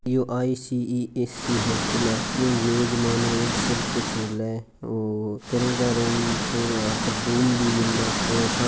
यो E C E S C hotel है या veg nonveg सब कुछ मिले और किराए के रूम और यहां पर रूम भी मिले और स --